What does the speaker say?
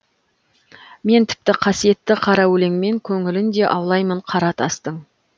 мен тіпті қасиетті қара өлеңмен көңілін де аулаймын қара тастың